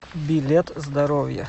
билет здоровье